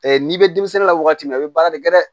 n'i bɛ denmisɛnnin la waati min na i bɛ baara de kɛ dɛ